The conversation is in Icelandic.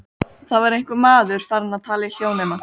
Það var einhver maður farinn að tala í hljóðnema.